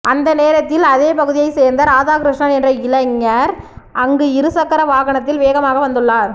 அந்தநேரத்தில் அதே பகுதியை சேர்ந்த ராதாகிருஷ்ணன் என்ற இளைஞர் அங்கு இரு சக்கர வாகனத்தில் வேகமாக வந்ததுள்ளார்